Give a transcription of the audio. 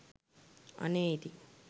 අනේ ඉතින්